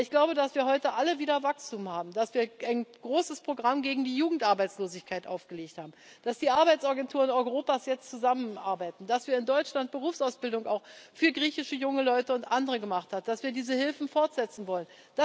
Aber ich glaube, dass wir heute alle wieder Wachstum haben, dass wir ein großes Programm gegen die Jugendarbeitslosigkeit aufgelegt haben, dass die Arbeitsagenturen Europas jetzt zusammenarbeiten, dass wir in Deutschland Berufsausbildung auch für griechische junge Leute und andere gemacht haben, dass wir diese Hilfen fortsetzen wollen.